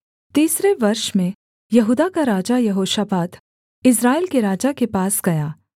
तीसरे वर्ष में यहूदा का राजा यहोशापात इस्राएल के राजा के पास गया